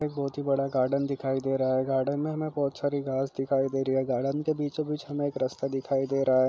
बहुत ही बड़ा गार्डन दिखाई दे रहा है गार्डन में हमेँ बहुत सारी घास दिखाई दे रही है गार्डन के बीचों बीच हमें एक रस्ता दिखाई दे रहा है।